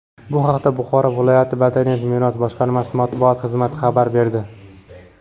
Bu haqda Buxoro viloyat madaniy meros boshqarmasi Matbuot xizmati xabar berdi.